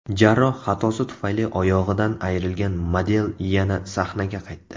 Jarroh xatosi tufayli oyog‘idan ayrilgan model yana sahnaga qaytdi.